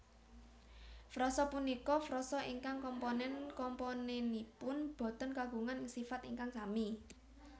Frasa punika frasa ingkang komponen komponènipun boten kagungan sifat ingkang sami